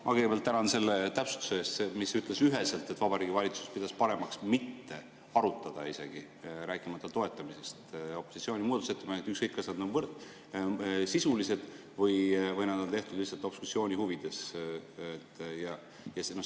Ma kõigepealt tänan selle täpsustuse eest, mis ütles üheselt, et Vabariigi Valitsus pidas paremaks mitte isegi arutada, rääkimata toetamisest, opositsiooni muudatusettepanekuid, ükskõik, kas need olid sisulised või olid need tehtud lihtsalt obstruktsiooni huvides.